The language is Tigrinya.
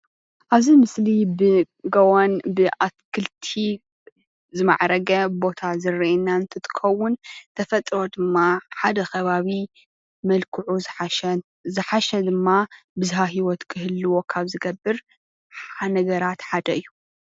ኣብዚ ምስሊ ብጎቦን ብኣትክልትን ዝማዕረገ ቦታ ዝረአየና እንትኸውን ተፈጥሮ ድማ ሓደ ኸባቢ ብመልክዑ ዝሓሸን ብዝሂወት ንኽህልዎ ዝገብር ሓደ እዩ።